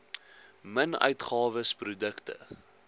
min uitgawes produkte